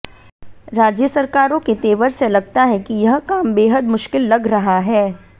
राज्य सरकारों के तेवर से लगता है कि यह काम बेहद मुश्किल लग रहा है